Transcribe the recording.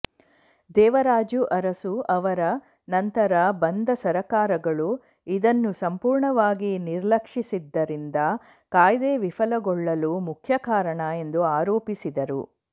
ದೇವರಾಜು ಅರಸು ಅವರ ನಂತರ ಬಂದ ಸರಕಾರಗಳು ಇದನ್ನು ಸಂಪೂರ್ಣವಾಗಿ ನಿರ್ಲಕ್ಷಿಸಿದ್ದರಿಂದ ಕಾಯ್ದೆ ವಿಫಲಗೊಳ್ಳಲು ಮುಖ್ಯ ಕಾರಣ ಎಂದು ಆರೋಪಿಸಿದರು